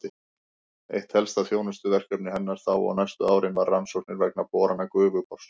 Eitt helsta þjónustuverkefni hennar þá og næstu árin var rannsóknir vegna borana Gufubors.